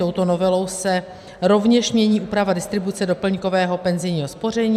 Touto novelou se rovněž mění úprava distribuce doplňkového penzijního spoření.